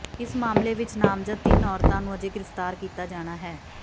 ਇਸ ਮਾਮਲੇ ਵਿਚ ਨਾਮਜ਼ਦ ਤਿੰਨ ਔਰਤਾਂ ਨੂੰ ਅਜੇ ਗ੍ਰਿਫ਼ਤਾਰ ਕੀਤਾ ਜਾਣਾ ਹੈ